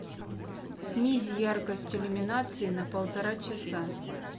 снизь яркость иллюминации на полтора часа